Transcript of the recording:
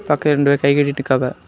பாக்க ரெண்டு பேரு கை கட்டிட்ருக்காவ.